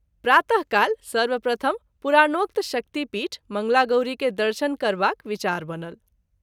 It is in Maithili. प्रात: काल सर्वप्रथम पुराणोक्त शक्ति पीठ मंगलागौरी के दर्शन करबाक विचार बनल।